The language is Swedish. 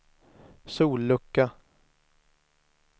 sollucka